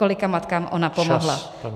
Kolika matkám ona pomohla.